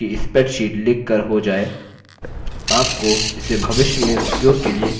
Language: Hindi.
एक बार आपकी spreadsheet लिख कर हो जाय आपको इसे भविष्य में उपयोग के लिए सेव करना चाहिए